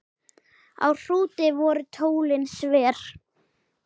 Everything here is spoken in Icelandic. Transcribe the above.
Á Hrúti voru tólin sver.